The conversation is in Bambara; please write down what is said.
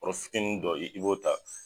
Bɔrɔfitinidɔ i b'o ta.